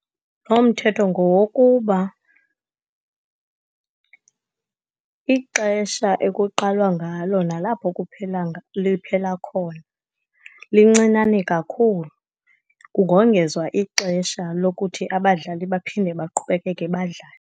Lo mthetho ngowokuba ixesha ekuqalwa ngalo, nalapho liphela khona, lincinane kakhulu. Kungongezwa ixesha lokuthi abadlali baphinde baqhubekeke badlale.